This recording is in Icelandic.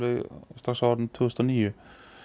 strax árið tvö þúsund og níu